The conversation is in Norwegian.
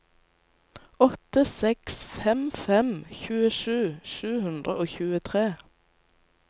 åtte seks fem fem tjuesju sju hundre og tjuetre